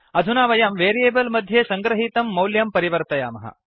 अधुना वयं वेरियेबल् मध्ये सङ्गृहीतं मौल्यं परिवर्तयामः